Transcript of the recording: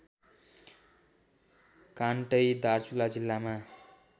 कान्टै दार्चुला जिल्लामा